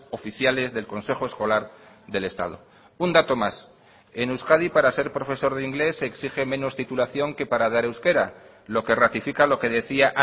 oficiales del consejo escolar del estado un dato más en euskadi para ser profesor de inglés se exige menos titulación que para dar euskera lo que ratifica lo que decía